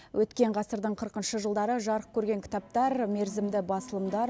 өткен ғасырдың қырқыншы жылдары жарық көрген кітаптар мерзімді басылымдар